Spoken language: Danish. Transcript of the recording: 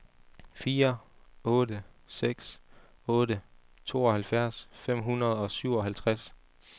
fire otte seks otte tooghalvfjerds fem hundrede og syvoghalvtreds